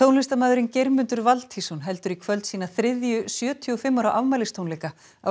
tónlistarmaðurinn Geirmundur Valtýsson heldur í kvöld sína þriðju sjötíu og fimm ára